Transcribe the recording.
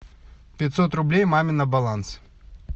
пятьсот рублей маме на баланс